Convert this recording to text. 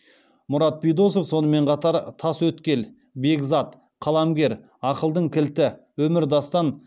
мұрат бидосов сонымен қатар тасөткел бекзат қаламгер ақылдың кілті өмірдастан